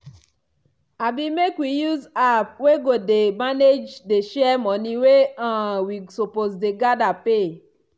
abi make we use app wey go dey manage dey share money wey um wi suppose dey gather pay.